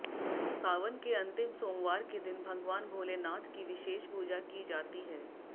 सावन के अंतिम सोमवार के दिन भगवान भोलेनाथ की विशेष पूजा की जाती है